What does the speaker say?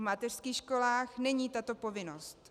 V mateřských školách není tato povinnost.